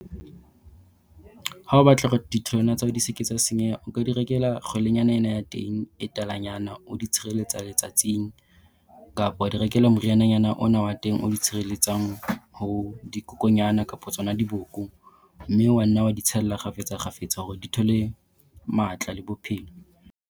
Ha o batla hore ditholwana tsa hao di se ke tsa senyeha, o ka di rekela kgwelenyana ena ya teng e talanyana o di tshireletsa letsatsing, kapa wa di rekela moriananyana ona wa teng o di tshireletsang ho dikokonyana kapo tsona diboko. Mme wa nna wa di tshella kgafetsa kgafetsa hore di thole matla le bophelo.